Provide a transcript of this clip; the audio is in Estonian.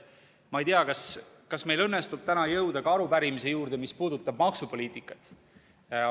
Ma ei tea, kas meil õnnestub täna jõuda ka arupärimise juurde, mis puudutab maksupoliitikat.